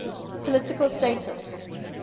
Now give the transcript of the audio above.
political status